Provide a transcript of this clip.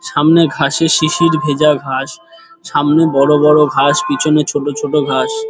সামনে ঘাসে শিশির ভেজা ঘাস সামনে বড় বড় ঘাস পিছনে ছোট ছোট ঘাস ।